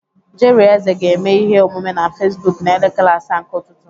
Jerry Eze ga-eme ihe omume na Fesbụk n'elekere asaa nke ụtụtụ.